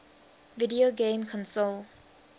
video game console